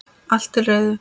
Allt til reiðu.